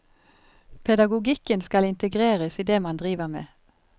Pedagogikken skal integreres i det man driver med.